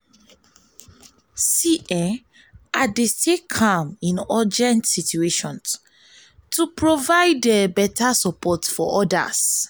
i dey stay calm in urgent situations to provide beta support to others.